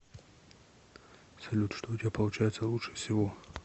салют что у тебя получается лучше всего